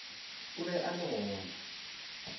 o be a le gona